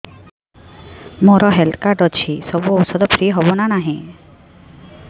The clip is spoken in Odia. ମୋର ହେଲ୍ଥ କାର୍ଡ ଅଛି ସବୁ ଔଷଧ ଫ୍ରି ହବ ନା ନାହିଁ